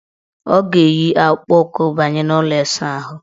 Ọ ga-eyi akpụkpụụkwụ banye n' ụlọ ịsaahụ.